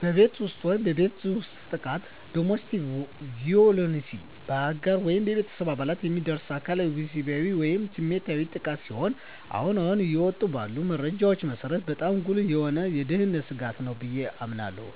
በቤት ውስጥ የቤት ውስጥ ጥቃት (Domestic Violence): በአጋር ወይም በቤተሰብ አባላት የሚደርስ አካላዊ፣ ወሲባዊ ወይም ስሜታዊ ጥቃት ሲሆን አሁን አሁን እየወጡ ባሉ መረጃዎች መሰረት በጣም ጉልህ የሆነ የደህንነት ስጋት ነው ብየ አምናለሁ።